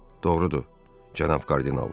Doğrudur, cənab kardinal.